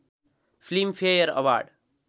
film fair award